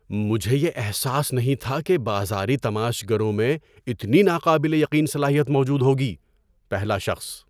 مجھے یہ احساس نہیں تھا کہ بازاری تماشا گروں میں اتنی ناقابل یقین صلاحیت موجود ہوگی۔ (پہلا شخص)